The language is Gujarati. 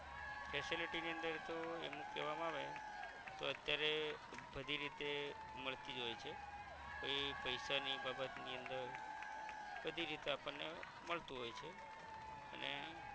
facility ની અંદર તો એવુક કેવામા આવે તો અત્યારે બધી રીતે મલતિજ હોય છે કોઈ પૈસા ની બાબત ની અંદર બધી રીતે આપણ ને મળતું હોય છે અને